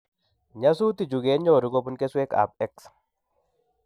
Nyasutichu kenyoru kobun keswek ab X